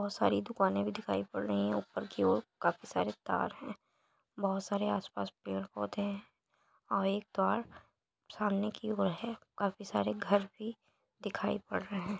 बहुत सारी दुकानें भी दिखाई पड़ रही है ऊपर की ओर काफी सारे तार है बहुत सारे पेड़ पौधे हैं और एक सामने की ओर है काफी सारे घर भी दिखाई पड़ रहे हैं।